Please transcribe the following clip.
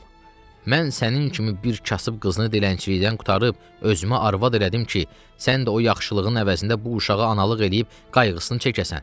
Mən sənin kimi bir kasıb qızını dilənçilikdən qurtarıb özümə arvad elədim ki, sən də o yaxşılığın əvəzində bu uşağı analıq eləyib qayğısını çəkəsən.